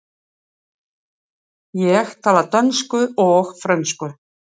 Ég tala dönsku og frönsku.